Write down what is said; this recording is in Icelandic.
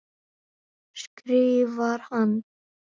skrifar hann.